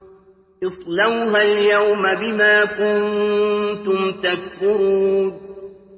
اصْلَوْهَا الْيَوْمَ بِمَا كُنتُمْ تَكْفُرُونَ